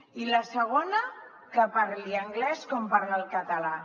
i la segona que parli anglès com parla el català